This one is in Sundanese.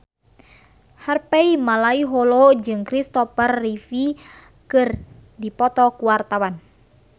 Harvey Malaiholo jeung Christopher Reeve keur dipoto ku wartawan